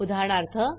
उदाहरणार्थ